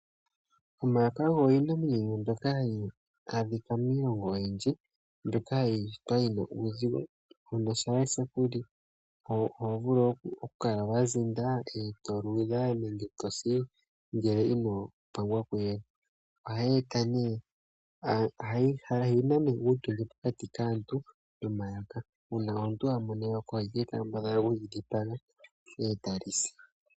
Omayoka ogo iinamwenyo yimwe mbyoka hayi adhika miilongo oyindji, mbyoka ya shitwa yi na uuzigo. Uuna lye ku li oho vulu okukala wa zinda,e to luudha nenge e to si ngele ino pangwa kuyele. Opu na uutondwe pokati kaantu nomayoka. Uuna omuntu a mono eyoka oha kambadhala okuli dhenga e ta li si.